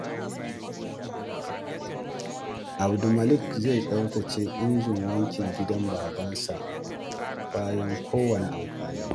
Abdulmalik zai tsaftace injin wankin gidan babansa bayan kowanne amfani.